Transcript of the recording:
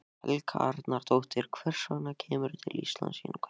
Helga Arnardóttir: Hvers vegna kemurðu til Íslands til innkaupa?